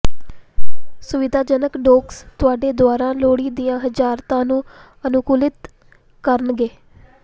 ਸੁਵਿਧਾਜਨਕ ਡੌਕਸ ਤੁਹਾਡੇ ਦੁਆਰਾ ਲੋੜੀਂਦੀਆਂ ਹਰਜਤਾਂ ਨੂੰ ਅਨੁਕੂਲਿਤ ਕਰਨਗੇ